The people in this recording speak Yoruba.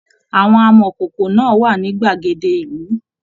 Àwọn amọkókó náà wà ní gbàgede ìlú.